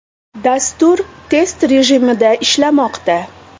Dastur test rejimida ishlamoqda.